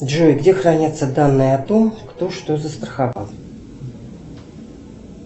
джой где хранятся данные о том кто что застраховал